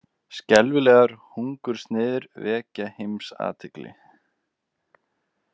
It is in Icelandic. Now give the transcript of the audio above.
Skelfilegar hungursneyðir vekja heimsathygli.